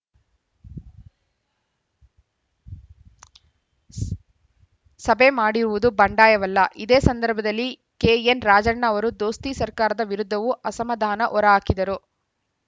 ಸಭೆ ಮಾಡಿರುವುದು ಬಂಡಾಯವಲ್ಲ ಇದೇ ಸಂದರ್ಭದಲ್ಲಿ ಕೆಎನ್‌ ರಾಜಣ್ಣ ಅವರು ದೋಸ್ತಿ ಸರ್ಕಾರದ ವಿರುದ್ಧವೂ ಅಸಮಾಧಾನ ಹೊರಹಾಕಿದರು